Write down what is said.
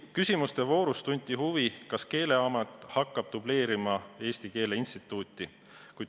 Küsimuste voorus tunti huvi, kas Keeleamet hakkab dubleerima Eesti Keele Instituuti.